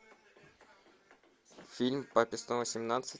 фильм папе снова семнадцать